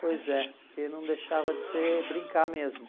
Pois é, porque não deixava de ser brincar mesmo.